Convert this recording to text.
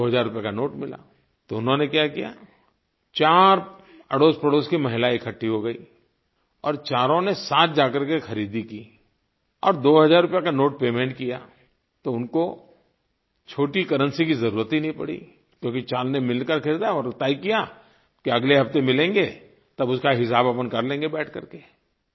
अब 2000 रुपये का नोट मिला तो उन्होंने क्या किया चार अड़ोसपड़ोस की महिलायें इकट्ठी हो गयी और चारों ने साथ जाकर के ख़रीदी की और 2000 रुपये का नोट पेमेंट किया तो उनको छोटी करेंसी की जरुरत ही नहीं पड़ी क्योंकि चारों ने मिलकर ख़रीदा और तय किया कि अगले हफ़्ते मिलेंगे तब उसका हिसाब हम कर लेंगे बैठ करके